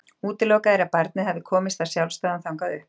Útilokað er að barnið hafi komist af sjálfsdáðum þangað upp.